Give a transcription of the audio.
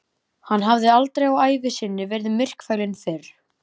Hann hafði aldrei á ævi sinni verið myrkfælinn fyrr.